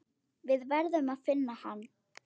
Við verðum að finna hann.